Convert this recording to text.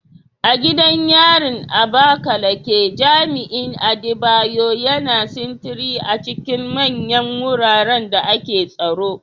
A gidan yarin Abakaleke, jami'in Adebayo, yana sintiri a cikin manyan wuraren da ake tsaro.